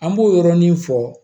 An b'o yɔrɔnin fɔ